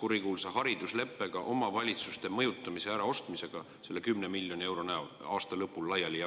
kurikuulsa haridusleppega omavalitsuste mõjutamise ja äraostmisega, jagades seda 10 miljonit eurot aasta lõpul laiali.